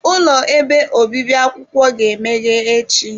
Ụlọ ebe obibi akwụkwọ ga-emeghe echi.